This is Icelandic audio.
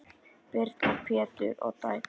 Birna, Pétur og dætur.